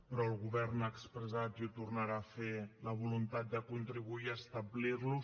però el govern ha expressat i ho tornarà a fer la voluntat de contribuir a establir los